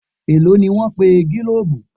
Èló ni wọ́n pe gílòòbù.?